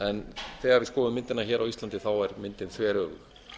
en þegar við skoðum myndina á íslandi þá er hún þveröfug